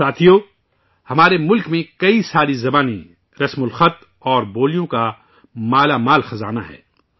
ساتھیو، ہمارے ملک میں کئی ساری زبان، رسم الخط اور بولیوں کا بیشمار خزانہ ہے